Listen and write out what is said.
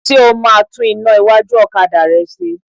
Ṣé o máa tún iná iwájú ọ̀kadà rẹ ṣe?